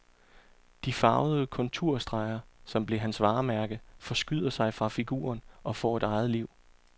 De farvede konturstreger, som blev hans varemærke, forskyder sig fra figuren og får et eget liv.